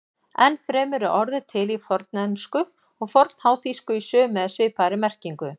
Enn fremur er orðið til í fornensku og fornháþýsku í sömu eða svipaðri merkingu.